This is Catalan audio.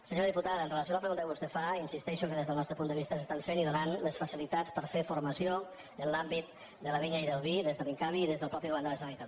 senyora diputada amb relació a la pregunta que vostè fa insisteixo que des del nostre punt de vista s’estan fent i donant les facilitats per a fer formació en l’àmbit de la vinya i del vi des de l’incavi i des del mateix govern de la generalitat